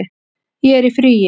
Ég er í fríi